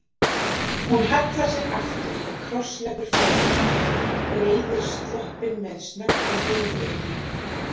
Hún hallar sér aftur og krossleggur fæturna, breiðir sloppinn með snöggri hreyfingu yfir hnén.